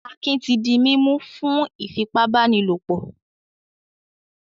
Akin ti di mímú fún ìfipábánilòpọ̀.